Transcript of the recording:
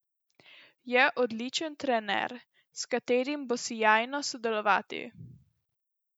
Je odličen trener, s katerim bo sijajno sodelovati.